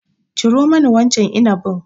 Ciro mani wancan inabin.